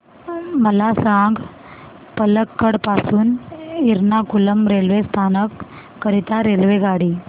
मला सांग पलक्कड पासून एर्नाकुलम रेल्वे स्थानक करीता रेल्वेगाडी